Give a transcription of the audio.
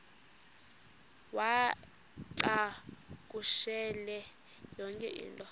uwacakushele yonke into